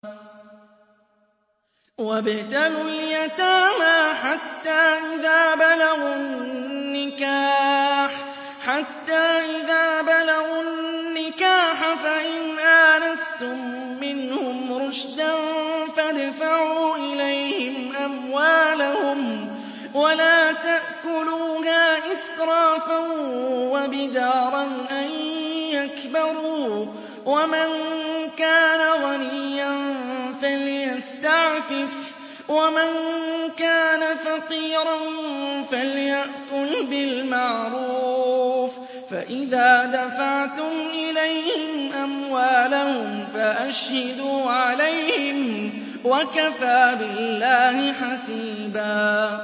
وَابْتَلُوا الْيَتَامَىٰ حَتَّىٰ إِذَا بَلَغُوا النِّكَاحَ فَإِنْ آنَسْتُم مِّنْهُمْ رُشْدًا فَادْفَعُوا إِلَيْهِمْ أَمْوَالَهُمْ ۖ وَلَا تَأْكُلُوهَا إِسْرَافًا وَبِدَارًا أَن يَكْبَرُوا ۚ وَمَن كَانَ غَنِيًّا فَلْيَسْتَعْفِفْ ۖ وَمَن كَانَ فَقِيرًا فَلْيَأْكُلْ بِالْمَعْرُوفِ ۚ فَإِذَا دَفَعْتُمْ إِلَيْهِمْ أَمْوَالَهُمْ فَأَشْهِدُوا عَلَيْهِمْ ۚ وَكَفَىٰ بِاللَّهِ حَسِيبًا